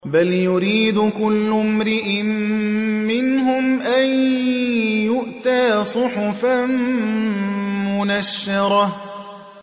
بَلْ يُرِيدُ كُلُّ امْرِئٍ مِّنْهُمْ أَن يُؤْتَىٰ صُحُفًا مُّنَشَّرَةً